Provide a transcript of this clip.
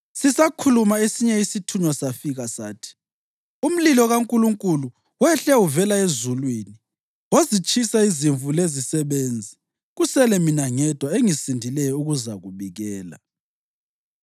Sisakhuluma esinye isithunywa safika sathi, “Umlilo kaNkulunkulu wehle uvela ezulwini wazitshisa izimvu lezisebenzi, kusele mina ngedwa engisindileyo ukuzakubikela!”